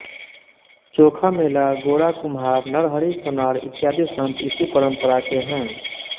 चोखा मेला गोरा कुम्हार नरहरि सोनार इत्यादि संत इसी परंपरा के हैं